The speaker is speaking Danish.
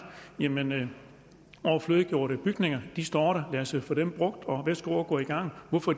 jamen overflødiggjorte bygninger står der lad os få dem brugt værsgo at gå i gang hvorfor